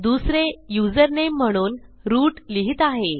दुसरे युझरनेम म्हणून रूट लिहित आहे